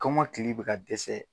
Kɔmɔkili bɛ ka dɛsɛ.